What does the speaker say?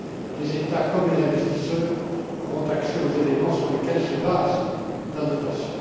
Les États, comme les investisseurs, auront accès aux éléments sur lesquels se base la notation.